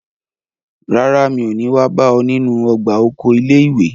Rárá, mi ò ní wá bá ọ nínú ọgbà oko ilé ìwé.